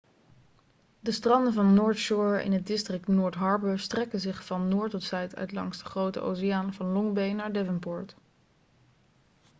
de stranden van north shore in het district north harbour strekken zich van noord tot zuid uit langs de grote oceaan van long bay naar devonport